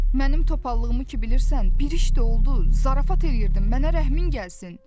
Mənim topallığımı ki bilirsən, bir iş də oldu, zarafat eləyirdim, mənə rəhmin gəlsin.